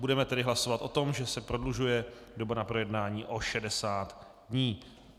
Budeme tedy hlasovat o tom, že se prodlužuje doba na projednání o 60 dní.